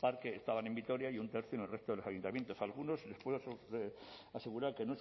parque estaban en vitoria y un tercio en el resto de los ayuntamientos algunos les puedo asegurar que